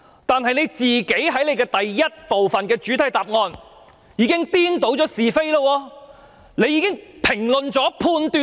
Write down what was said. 但是，他在主體答覆第一部分已經顛倒是非，並作出評論和判斷。